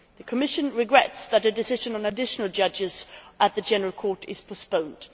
The Commission regrets that a decision on additional judges at the General Court is postponed.